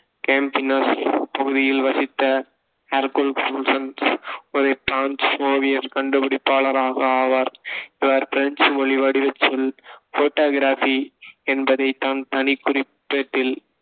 Campinas பகுதியில் வசித்த Hercules Florence ஒரு ஃப்ரான்ஸ் ஓவியர் கண்டுபிடிப்பாளறாக ஆவார். இவர் பிரஞ்சு மொழி வடிவச் சொல், photography என்பதைத் தான் தனிக்குறிப்பேட்டில்